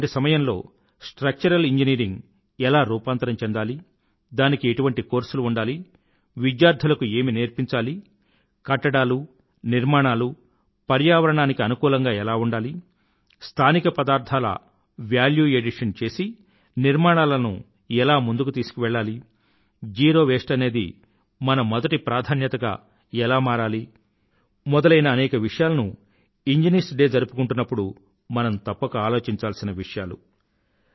ఇటువంటి సమయంలో structural engineering ఎలా రూపాంతరం చెందాలి దానికి ఎటువంటి కోర్సులు ఉండాలి విద్యార్థులకు ఏమి నేర్పించాలి కట్టడాలు నిర్మాణాలూ పర్యావరణానుకూలంగా ఎలా ఉండాలి స్థానిక పదార్థాల వాల్యూ ఎడిషన్ చేసి నిర్మాణాలను ఎలా ముందుకు తీశుకువెళ్ళాలి జీరో వేస్ట్ అనేది మన మొదటి ప్రాధాన్యతగా ఎలా మారాలి మొదలైన అనేక విషయాలను ఇంజనీర్స్ డే జరుపుకుంటున్నప్పుడు మనం తప్పక ఆలోచించాల్సిన విషయాలు